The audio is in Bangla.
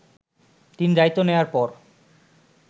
তিনি দায়িত্ব নেয়ার পর